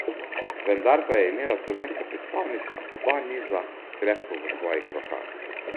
Vendar pa je imela slovenska predstavnica oba niza krepko v svojih rokah.